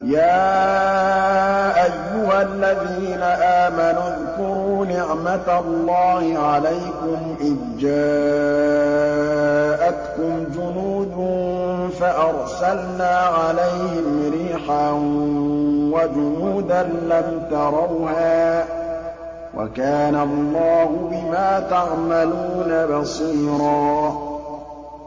يَا أَيُّهَا الَّذِينَ آمَنُوا اذْكُرُوا نِعْمَةَ اللَّهِ عَلَيْكُمْ إِذْ جَاءَتْكُمْ جُنُودٌ فَأَرْسَلْنَا عَلَيْهِمْ رِيحًا وَجُنُودًا لَّمْ تَرَوْهَا ۚ وَكَانَ اللَّهُ بِمَا تَعْمَلُونَ بَصِيرًا